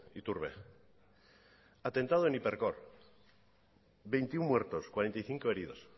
iturbe atentado en hipercor veintiuno muertos cuarenta y cinco heridos